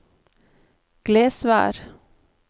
Glesvær